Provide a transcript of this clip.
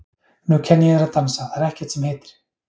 Nú kenni ég þér að dansa, það er ekkert sem heitir!